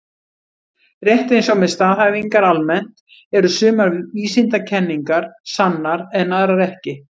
Rétt eins og með staðhæfingar almennt eru sumar vísindakenningar sannar en aðrar ekki.